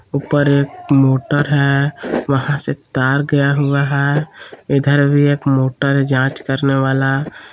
ऊपर एक मोटर है वहां से तार गया हुआ है इधर भी एक मोटर है जांच करने वाला।